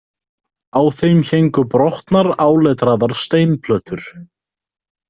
Á þeim héngu brotnar áletraðar steinplötur.